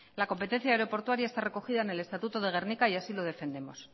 la competencia aeroportuaria está recogida en el estatuto de gernika y así lo defendemos